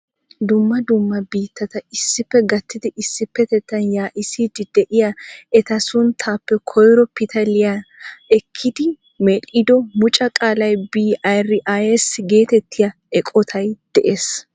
Dumma dumma biittata issippe gattidi issipetettan yaa"issiidi de'iyaa eta sunttaappe koyro pitaliyaa ekkidi medhdhido muucca qaalay "BRICS" getettiyaa eqqoyltay de'ees.